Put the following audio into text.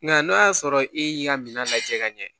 Nka n'o y'a sɔrɔ e y'i ka minan lajɛ ka ɲɛ